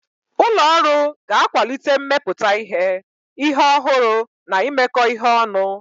Ụlọ ọrụ ga-akwalite mmepụta ihe, ihe ọhụrụ na imekọ ihe ọnụ.